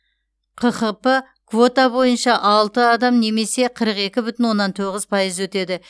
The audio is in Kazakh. қхп квота бойынша алты адам немесе қырық екі бүтін оннан тоғыз пайыз өтеді